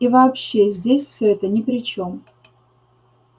и вообще здесь всё это ни при чём